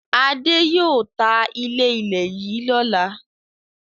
Adé yóò ta ilé-ilẹ̀ yìí lọ́la.